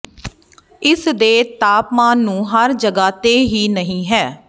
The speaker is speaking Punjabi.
ਇਸ ਦੇ ਤਾਪਮਾਨ ਨੂੰ ਹਰ ਜਗ੍ਹਾ ਤੇ ਹੀ ਨਹੀ ਹੈ